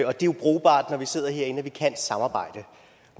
og det er jo brugbart når vi sidder herinde at vi kan samarbejde